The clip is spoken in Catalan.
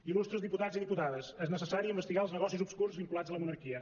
il·lustres diputats i diputades és necessari investigar els negocis obscurs vinculats a la monarquia